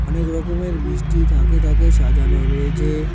অনেক রকমের মিষ্টি থাকে থাকে সাজানো রয়েছে।